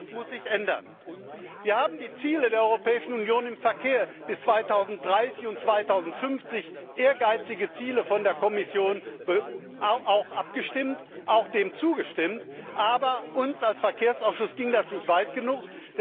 Und das muss sich ändern! Wir haben über die Ziele der Europäischen Union im Verkehr bis 2030 und 2050, ehrgeizige Ziele der Kommission, auch abgestimmt und ihnen zugestimmt, aber uns als Verkehrsausschuss ging das nicht weit genug.